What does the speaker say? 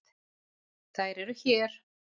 Þær eru hér.